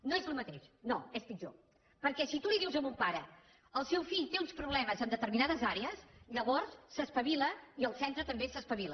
no és el mateix no és pitjor perquè si tu li dius a un pare el seu fill té uns problemes en determinades àrees llavors s’espavila i el centre també s’espavila